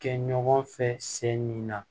Kɛ ɲɔgɔn fɛ se nin na